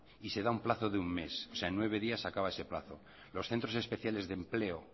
y se da un plazo de un mes o sea en nueve días se acaba ese plazo los centros especiales de empleo